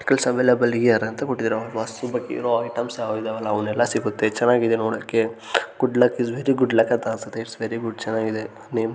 '' gifts available here ಅಂತ ಕೊಟ್ಟಿದಾರೆ ಒಂದು ಬಾಕ್ಸ್ ಮತ್ತೆ ಐಟೆಮ್ಸ ಏನೋ ಇದಾವೆ ಅಲ್ಲ ಅದೆಲ್ಲ ಸಿಗುತ್ತೆ ಚೆನ್ನಗಿದೆ ನೋಡೋಕೆ good luck is very good luck ಅಂತ ಅನ್ಸುತ್ತೆ ಇಟ್ಸ್ ವೆರಿ ಗುಡ್ ಚೆನ್ನಾಗಿದೆ ನೇಮ್ ಪ್ಲೇಟ್ ''